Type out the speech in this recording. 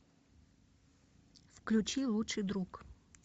включи лучший друг